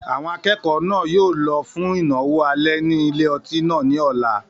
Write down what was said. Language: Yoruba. Àwọn akẹ́kọ̀ọ́ náà yóò lọ fún ìnáwó alẹ́ ní ilé-otí náà ní ọ̀la